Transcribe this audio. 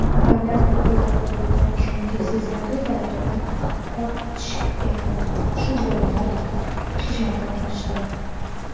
davlat organlariga bo‘lgan ishonchni sezilarli darajada ortishiga shu bolalar xizmat qilishdi.